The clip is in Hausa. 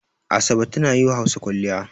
Asabe tana yi wa Hausa kwalliya.